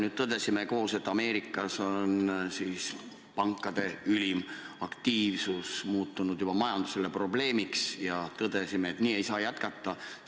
Me tõdesime koos, et Ameerika Ühendriikides on pankade ülim aktiivsus muutunud majandusele juba probleemiks, ja tõdesime, et nii ei saa jätkata.